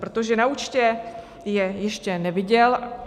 Protože na účtě je ještě neviděl.